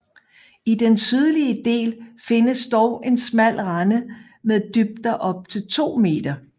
I den sydlige del findes dog en smal rende med dybder op til 2 m